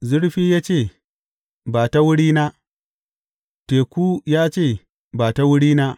Zurfi ya ce, Ba ta wurina; teku ya ce, Ba ta wurina.